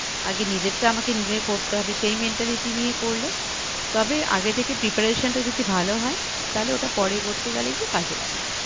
আগে নিজের টা আমাকে নিজেই করতে হবে সেই mentality নিয়ে করলে তবে আগে থেকে preparation টা যদি ভালো হয় তালে ওটা পরবর্তীকালে গিয়ে কাজে লাগবে